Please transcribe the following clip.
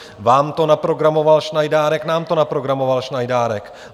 Vám to naprogramoval Šnajdárek, nám to naprogramoval Šnajdárek.